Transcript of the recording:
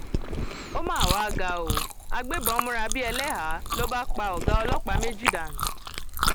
ó mà wàá ga ọ agbébọn múra bíi ẹlẹhàá ló bá pa ọgá ọlọpàá méjì dànù